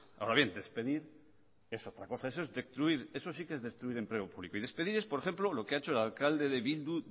ahora bien despedir es otra cosa eso sí que es destruir empleo público y despedir es por ejemplo lo que ha hecho el alcalde de bildu